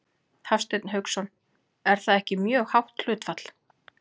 Hafsteinn Hauksson: Er það ekki mjög hátt hlutfall?